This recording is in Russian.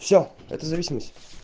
все это зависимость